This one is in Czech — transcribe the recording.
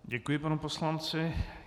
Děkuji panu poslanci.